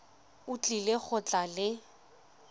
o tlile go tla le